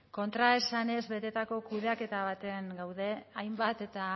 kontraesanez betetako kudeaketa batean gaude hainbat eta